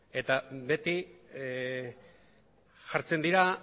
eta beti jartzen dira